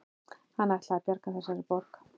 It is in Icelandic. Hann ætlaði að bjarga þessari borg